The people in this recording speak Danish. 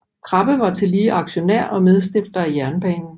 Krabbe var tillige aktionær og medstifter af jernbanen